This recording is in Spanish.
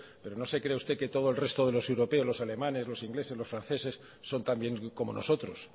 pero no se crea usted que todo el resto de los europeos los alemanes los ingleses los franceses son también como nosotros